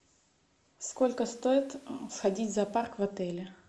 сколько стоит сходить в зоопарк в отеле